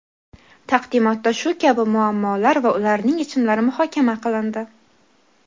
Taqdimotda shu kabi muammolar va ularning yechimlari muhokama qilindi.